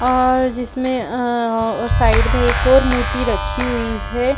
और जिसमें अ और साइड में एक और मूर्ति रखी हुई है।